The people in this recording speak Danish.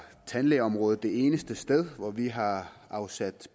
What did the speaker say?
tandlægeområdet det eneste sted hvor vi har afsat